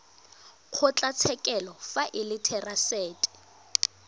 kgotlatshekelo fa e le therasete